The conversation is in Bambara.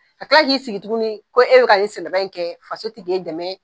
Ka kila k'i sigi tuguni ko e be ka nin sɛnɛba in kɛ ko faso ti ke dɛmɛ